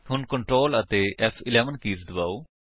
ਹੁਣ ਕੰਟਰੋਲ ਅਤੇ ਫ਼11 ਕੀਜ ਦਬਾਓ